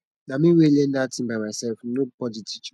na me wey learn dat thing by myself no body teach me